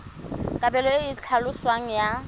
kabelo e e tlhaloswang ya